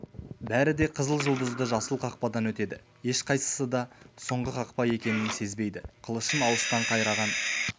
бәрі де қызыл жұлдызды жасыл қақпадан өтеді ешқайсысы да соңғы қақпа екенін сезбейді қылышын алыстан қайраған